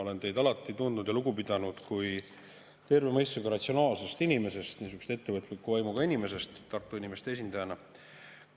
Olen teid alati tundnud ja teist lugu pidanud kui terve mõistusega ratsionaalsest inimesest, niisugusest ettevõtliku vaimuga inimesest Tartu inimeste esindajana.